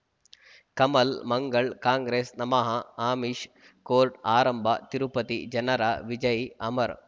ಕಮಲ್ ಮಂಗಳ್ ಕಾಂಗ್ರೆಸ್ ನಮಃ ಅಮಿಷ್ ಕೋರ್ಟ್ ಆರಂಭ ತಿರುಪತಿ ಜನರ ವಿಜಯ್ ಅಮರ್